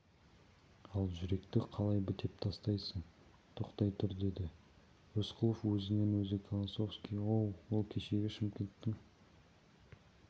ал жүректі қалай бітеп тастайсың тоқтай тұр деді рысқұлов өзінен-өзі колосовский оу ол кешегі шымкенттің